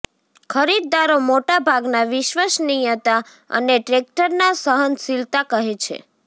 ખરીદદારો મોટા ભાગના વિશ્વસનીયતા અને ટ્રેક્ટરના સહનશીલતા કહે છે